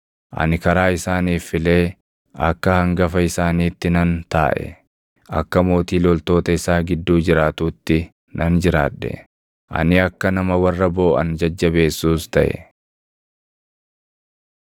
Ani karaa isaaniif filee akka hangafa isaaniitti nan taaʼe; akka mootii loltoota isaa gidduu jiraatuutti nan jiraadhe; ani akka nama warra booʼan jajjabeessuus taʼe.